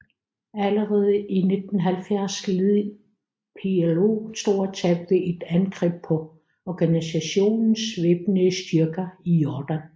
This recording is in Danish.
Allerede i 1970 led PLO store tab ved et angreb på organisationens væbnede styrker i Jordan